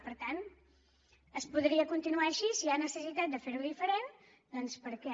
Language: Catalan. per tant es podria continuar així i si hi ha necessitat de fer ho diferent doncs per què